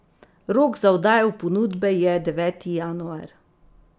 Rok za oddajo ponudbe je deveti januar.